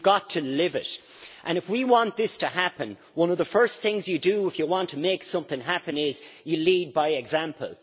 You have got to live it, and if you want this to happen, one of the first things you do if you want to make something happen is you lead by example.